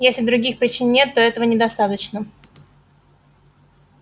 если других причин нет то этого недостаточно